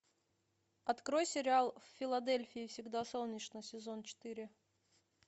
открой сериал в филадельфии всегда солнечно сезон четыре